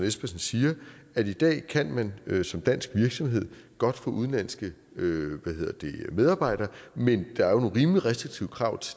espersen siger at i dag kan man som dansk virksomhed godt få udenlandske medarbejdere men der er nogle rimelig restriktive krav